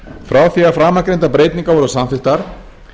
frá því að framangreindar breytingar voru samþykktar